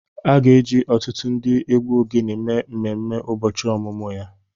A ga-eji ọtụtụ ndị egwu ogene mee mmemme ụbọchị ọmụmụ ya